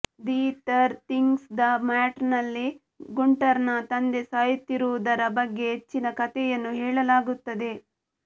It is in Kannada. ದಿ ಥರ್ ಥಿಂಗ್ಸ್ ದ ಮ್ಯಾಟರ್ನಲ್ಲಿ ಗುಂಟರ್ನ ತಂದೆ ಸಾಯುತ್ತಿರುವುದರ ಬಗ್ಗೆ ಹೆಚ್ಚಿನ ಕಥೆಯನ್ನು ಹೇಳಲಾಗುತ್ತದೆ